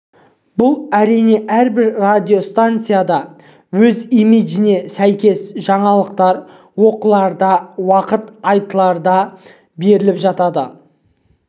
бұл әрине әрбір радиостанцияда өз имиджіне сәйкес жаңалықтар оқыларда уақыт айтыларда беріліп жатады